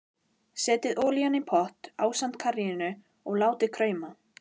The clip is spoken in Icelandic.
Hvaða munur er nú á atómskáldi og hinum?